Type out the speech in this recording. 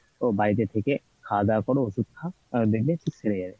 তো বাড়িতে থেকে খাওয়া দাওয়া করো ওষুধ খাও আহ দেখবে ঠিক সেরে যাবে।